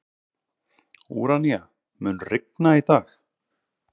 Úranía, mun rigna í dag?